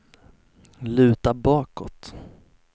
luta bakåt